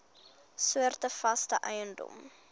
soorte vaste eiendom